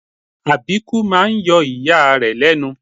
Àbíkú máa ń yọ ìyá rẹ̀ lẹ́nu